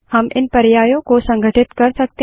हम इन पर्यायों को संघटित कर सकते हैं